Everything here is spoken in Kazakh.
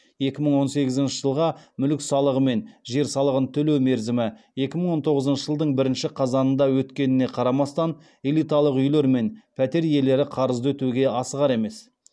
екі мың он сегізінші жылға мүлік салығы мен жер салығын төлеу мерзімі екі мың он тоғызыншы жылдың бірінші қазанында өткеніне қарамастан элиталық үйлер мен пәтер иелері қарызды өтеуге асығар емес